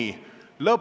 Aitäh!